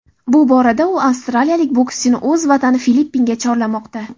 Bu borada u avstraliyalik boskchini o‘z vatani Filippinga chorlamoqda.